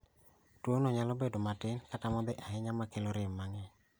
Tuo no nyalo bedo matin kata modhi ahinya makelo rem mang'eny